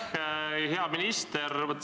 Aitäh, hea minister!